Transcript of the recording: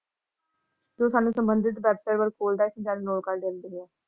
ਤੇ ਸਾਨੂੰ ਸੰਬੰਧਿਤ ।